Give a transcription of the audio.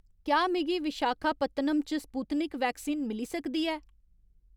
क्या मिगी विशाखापत्तनम च स्पुत्निक वैक्सीन मिली सकदी ऐ